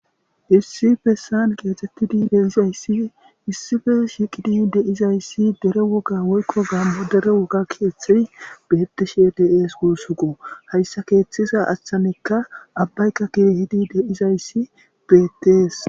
Issi bessan keexettidi deizayssii issife shiqidi deizayssi dere woga woykko gaammodere woga keeththei betishi dees guussuqo hayssa keeththiza achchanekka abbayka kirihidi deizayssi bettees.